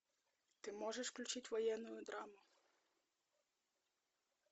ты можешь включить военную драму